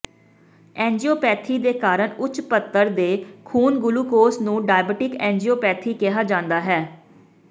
angiopathy ਦੇ ਕਾਰਨ ਉੱਚ ਪੱਧਰ ਦੇ ਖੂਨ ਗੁਲੂਕੋਜ਼ ਨੂੰ ਡਾਇਬਟੀਕ ਐਂਜੀਓਪੈਥੀ ਕਿਹਾ ਜਾਂਦਾ ਹੈ